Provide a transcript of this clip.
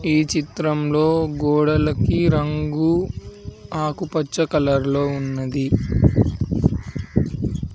ఈ చిత్రంలో గోడలకి రంగు ఆకుపచ్చ కలర్లో ఉన్నది